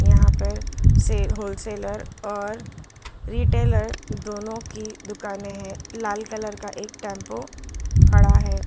यहां पर सेल होल सेलर और रिटेलर दोनों की दुकानें हैं लाल कलर का एक टेंपू खड़ा है।